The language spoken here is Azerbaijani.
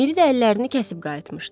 Miri də əllərini kəsib qayıtmışdı.